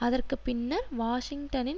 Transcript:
அதற்கு பின்னர் வாஷிங்டனின்